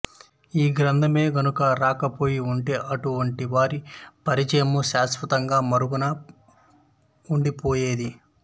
ఈ గ్రంథమే గనుక రాక పోయి ఉంటే అటు వంటి వారి పరిచయము శాశ్వతముగా మరుగున ఉండి పోయేది